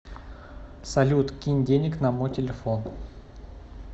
салют кинь денег на мой телефон